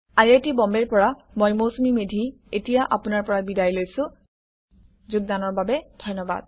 I I T বম্বেৰ পৰা মই মৌচুমী মেধী এতিয়া আপোনাৰ পৰা বিদায় লৈছো অংশগ্ৰহণৰ বাবে ধন্যবাদ